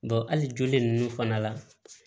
hali joli nunnu fana la